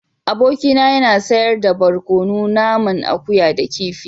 Abokina yana sayar da barkono naman akuya da kifi.